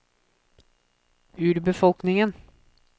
urbefolkningen